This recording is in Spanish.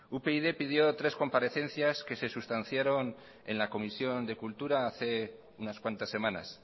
upyd pidió tres comparecencias que se sustanciaron en la comisión de cultura hace unas cuantas semanas